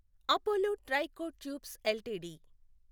Apollo Tricoat tubes LTD